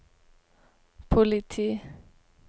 politi